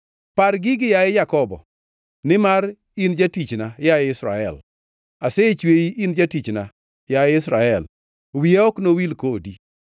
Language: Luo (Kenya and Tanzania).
“Par gigi, yaye Jakobo, nimar in jatichna, yaye Israel. Asechweyi, in jatichna; yaye Israel, wiya ok nowil kodi.